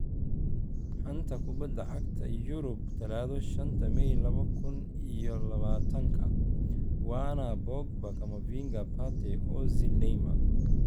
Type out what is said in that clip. Xanta Kubadda Cagta Yurub Talaado shanta may laba kuun iyo labatanka : Werner, Pogba, Camavinga, Partey, Ozil, Neymar